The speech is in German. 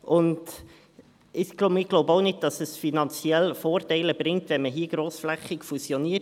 Wir glauben auch nicht, dass es finanzielle Vorteile bringt, wenn man hier grossflächig fusioniert.